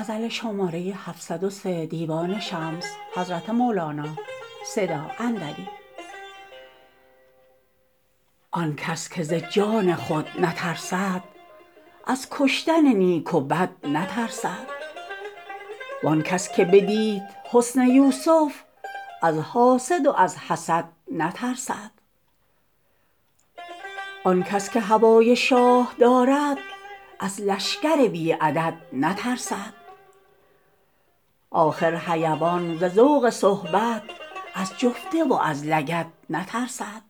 آن کس که ز جان خود نترسد از کشتن نیک و بد نترسد وان کس که بدید حسن یوسف از حاسد و از حسد نترسد آن کس که هوای شاه دارد از لشکر بی عدد نترسد آخر حیوان ز ذوق صحبت از جفته و از لگد نترسد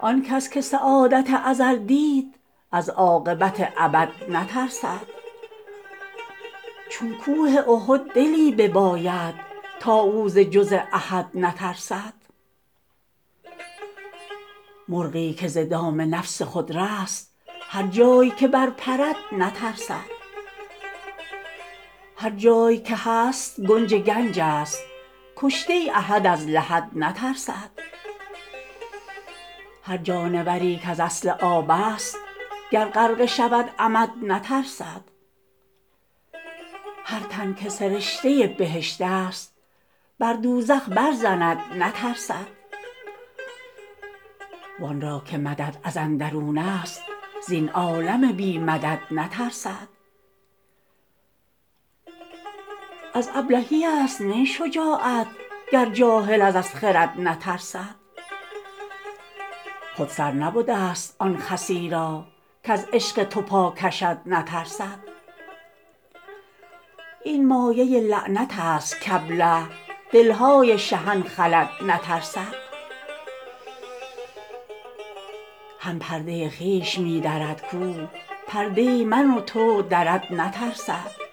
آن کس که سعادت ازل دید از عاقبت ابد نترسد چون کوه احد دلی بباید تا او ز جز احد نترسد مرغی که ز دام نفس خود رست هر جای که برپرد نترسد هر جای که هست گنج گنجست کشته احد از لحد نترسد هر جانوری کز اصل آبست گر غرقه شود عمد نترسد هر تن که سرشته بهشتست بر دوزخ برزند نترسد وان را که مدد از اندرونست زین عالم بی مدد نترسد از ابلهیست نی شجاعت گر جاهل از خرد نترسد خود سر نبدست آن خسی را کز عشق تو پا کشد نترسد این مایه لعنتست کابله دل های شهان خلد نترسد هم پرده خویش می درد کو پرده من و تو درد نترسد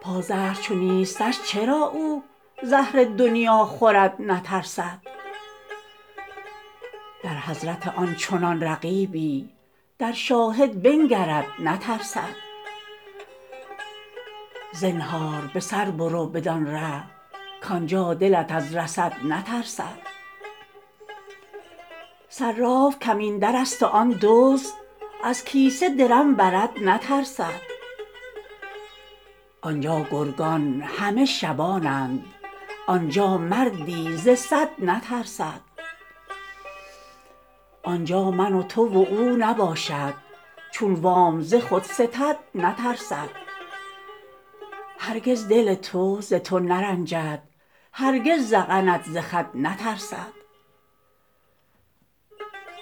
پازهر چو نیستش چرا او زهر دنیا خورد نترسد در حضرت آن چنان رقیبی در شاهد بنگرد نترسد زنهار به سر برو بدان ره کان جا دلت از رصد نترسد صراف کمین درست و آن دزد از کیسه درم برد نترسد آن جا گرگان همه شبانند آن جا مردی ز صد نترسد آن جا من و تو و او نباشد چون وام ز خود ستد نترسد هرگز دل تو ز تو نرنجد هرگز ذقنت ز خد نترسد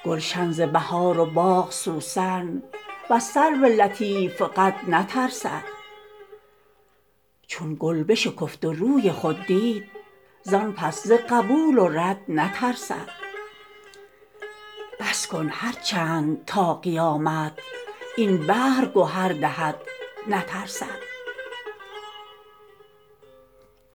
گلشن ز بهار و باغ سوسن وز سرو لطیف قد نترسد چون گل بشکفت و روی خود دید زان پس ز قبول و رد نترسد بس کن هر چند تا قیامت این بحر گهر دهد نترسد